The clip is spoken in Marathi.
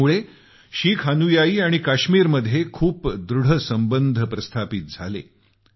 यामुळे शीख अनुयायी आणि काश्मीरमध्ये खूप दृढ संबंध स्थापित झाले